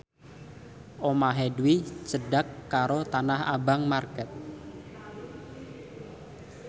omahe Dwi cedhak karo Tanah Abang market